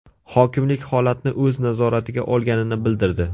Hokimlik holatni o‘z nazoratiga olganini bildirdi.